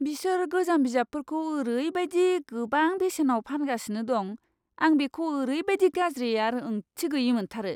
बिसोर गोजाम बिजाबफोरखौ ओरैबायदि गोबां बेसेनाव फानगासिनो दं, आं बेखौ ओरैबादि गाज्रि आरो ओंथि गैयै मोनथारो!